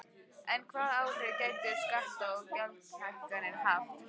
En hvaða áhrif gætu skatta- og gjaldahækkanir haft?